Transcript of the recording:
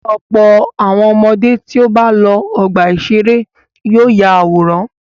Ọ̀pọ̀ àwọn ọmọdé tí ó bá lọ ọgbà-ìṣeré yóò ya àwòrán.